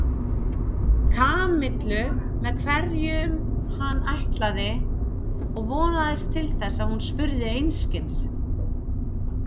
Kamillu með hverjum hann ætlaði og vonaðist til þess að hún spurði einskis.